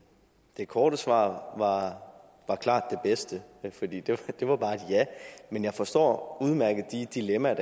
det korte svar var klart det bedste for det var bare et ja men jeg forstår udmærket de dilemmaer